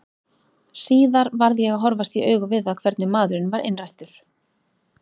Síðar varð ég að horfast í augu við það hvernig maðurinn var innrættur.